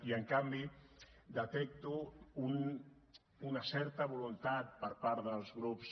i en canvi detecto una certa voluntat per part dels grups